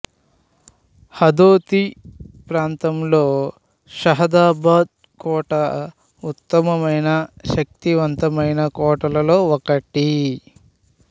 హదోతీ ప్రాంతంలో షహదాబాదు కోట ఉత్తమమైన శక్తివంతమైన కోటలలో ఒకటి